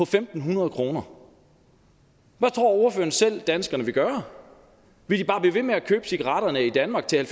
fem hundrede kroner hvad tror ordføreren selv danskerne vil gøre vil de bare blive ved med at købe cigaretterne i danmark til